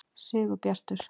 Sigurbjartur